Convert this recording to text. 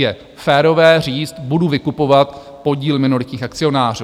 Je férové říct: budu vykupovat podíl minoritních akcionářů.